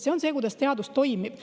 See on see, kuidas teadus toimib.